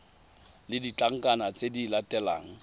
le ditlankana tse di latelang